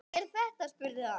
Hver er þetta, spurði hann.